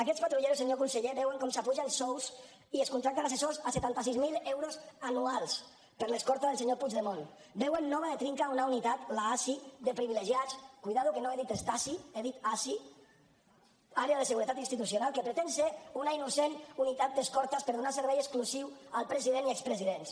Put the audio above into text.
aquests patrulleros senyor conseller veuen com s’apugen sous i es contracten assessors a setanta sis mil euros anuals per a l’escorta del senyor puigdemont veuen nova de trinca una unitat l’asi de privilegiats compte que no he dit stasi he dit asi àrea de seguretat institucional que pretén ser una innocent unitat d’escortes per donar servei exclusiu al president i expresidents